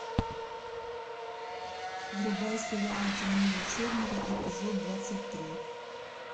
врубай сериал темнее черного эпизод двадцать три